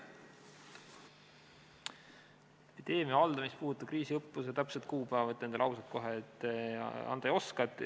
Epideemia haldamist puudutava kriisiõppuse täpset kuupäeva, ma ütlen teile kohe ausalt, ma öelda ei oska.